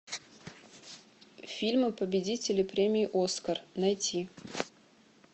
фильмы победители премии оскар найти